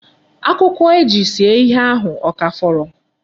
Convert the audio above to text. Akwụkwọ e ji see ihe ahụ ọ ka fọrọ?